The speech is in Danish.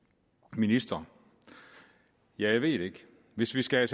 minister jeg ved det ikke hvis vi skal